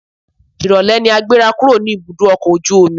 Ìrólé ni a gbéra kúrò ní ibùdó ọkọ̀ ojú omi.